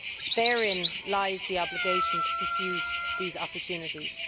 Therein lies the obligation to pursue these opportunities.